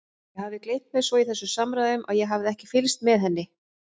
Ég hafði gleymt mér svo í þessum samræðum að ég hafði ekki fylgst með henni.